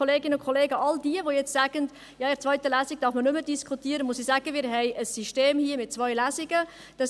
Und zu all jenen, welche jetzt sagen, «In einer zweiten Lesung darf man nicht mehr diskutieren», muss ich sagen, dass wir ein System mit zwei Lesungen haben.